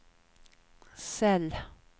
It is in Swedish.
cell